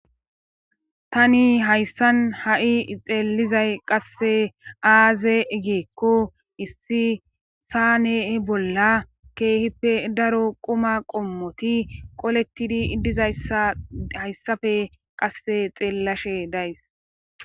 Tani hayssan ha'i xeeelizay qasse aaze egeekko issi saa nehe bolla keehippe daro qoma qommoti qolettidi iddizayssa hayssafe qasse xeellashe days.